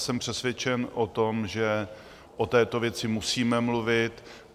Jsem přesvědčen o tom, že o této věci musíme mluvit.